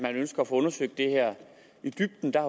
at de ønsker at få undersøgt det her i dybden der